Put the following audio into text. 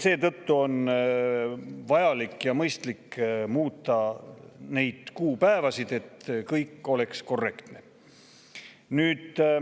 Seetõttu on vajalik ja mõistlik muuta neid kuupäevasid, et kõik oleks korrektne.